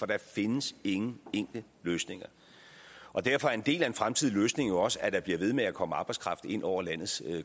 der findes ingen enkle løsninger og derfor er en del af en fremtidig løsning jo også at der bliver ved med at komme arbejdskraft ind over landets